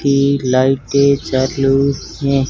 तीन लाइटें चालू हैं।